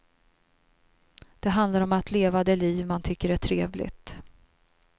Det handlar om att leva det liv man tycker är trevligt.